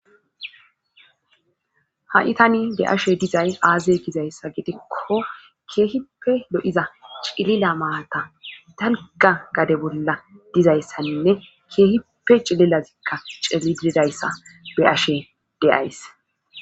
Ha7i tani de7ashe dizay aaze gizayssa gitikko keehippe do7iza cilila maata dalga gade bolla dizayssaninne keehippe cililazikka celiidayssa be ashe deyays.